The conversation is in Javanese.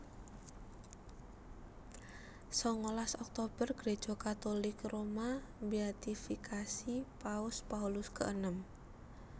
Sangalas Oktober Gréja Katulik Roma mbéatifikasi Paus Paulus keenem